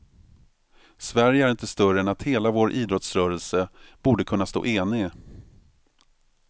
Sverige är inte större än att hela vår idrottsrörelse borde kunna stå enig.